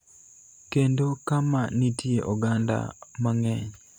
kendo kama nitie oganda mang�eny,